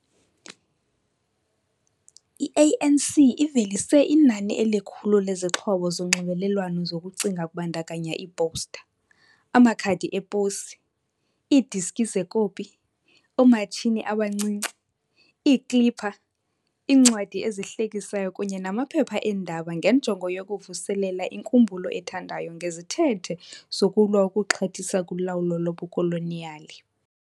i-ANC ivelise inani elikhulu lezixhobo zonxibelelwano zokucinga kubandakanya iiposta, amakhadi eposi, iidiski zecoppy, oomatshini abancinci, Iikipa, iincwadi ezihlekisayo kunye namaphepha eendaba ngenjongo yokuvuselela inkumbulo ethandwayo ngezithethe zokulwa ukuxhathisa kulawulo lobukoloniyali.